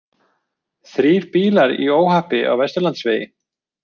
Þrír bílar í óhappi á Vesturlandsvegi